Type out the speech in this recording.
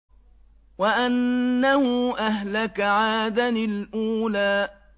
وَأَنَّهُ أَهْلَكَ عَادًا الْأُولَىٰ